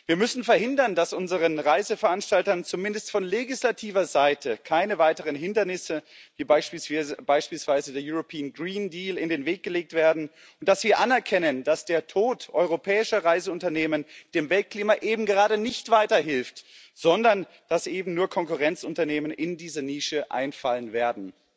Wir müssen verhindern, dass unseren Reiseveranstaltern zumindest von legislativer Seite weitere Hindernisse wie beispielsweise der European Green Deal in den Weg gelegt werden, und wir müssen anerkennen, dass der Tod europäischer Reiseunternehmen dem Weltklima eben gerade nicht weiterhilft, sondern dass eben nur Konkurrenzunternehmen in diese Nische einfallen werden.